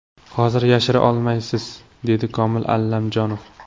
Hozir yashira olmaysiz”, dedi Komil Allamjonov.